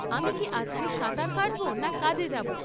আমি কী আজকে সাঁতার কাটবো না কাজে যাব?